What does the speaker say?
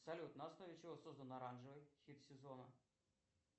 салют на основе чего создан оранжевый хит сезона